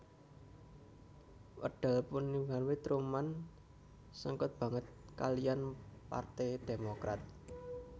Wekdal mudhanipun Truman sengkut banget kaliyan Parte Demokrat